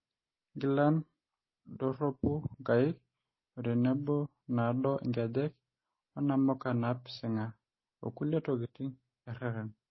Nkilan a`doru nkaik . Otenebo naado inkejek .onamuka napisinga okulie tokitin erreren.